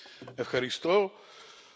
Szanowny Panie Przewodniczący!